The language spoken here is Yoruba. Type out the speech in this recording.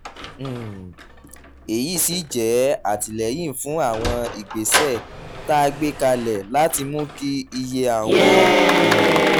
um èyí sì jẹ́ àtìlẹ́yìn fún àwọn ìgbésẹ̀ tá a gbé kalẹ̀ láti mú kí iye àwọn um